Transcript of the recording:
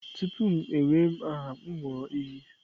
Tupu m ewee aha, m aṅụ iyi.